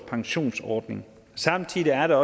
pensionsordning samtidig handler